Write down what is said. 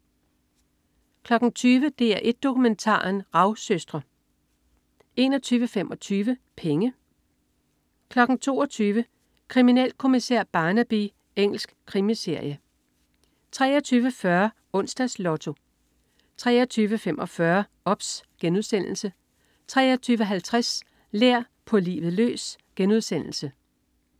20.00 DR1 Dokumentaren. Ravsøstre 21.25 Penge 22.00 Kriminalkommissær Barnaby. Engelsk krimiserie 23.40 Onsdags Lotto 23.45 OBS* 23.50 Lær. På livet løs*